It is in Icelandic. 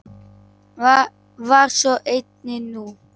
Var svo einnig nú.